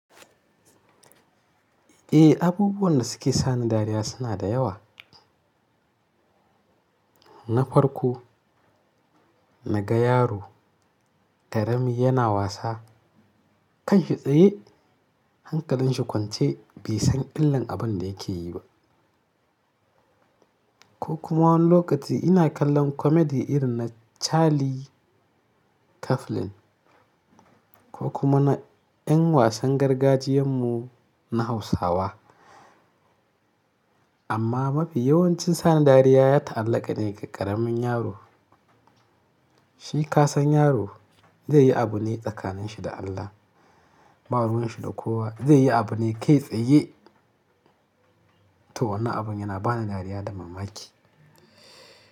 Eh, abubuwan da suke sani dariya suna da yawa. Na farko, naga yaro ƙarami yana wasa kan shi tsaye, hankalin shi kwance bai san illan abun da yake yi ba. Ko kuma wani lokaci ina kallon comedy irin na Charlie Chaplin ko kuma na ƴan wasan gargajiyan mu na Hausawa. Amma mafi yawancin sani dariya ya ta'allaka ne ga ƙaramin yaro. Shi kasan yaro zai yi abu ne tsakanin shi da Allah, ba ruwan shi da kowa. Zai yi abu ne kai tsaye toh wannan abun yana bani dariya da mamaki.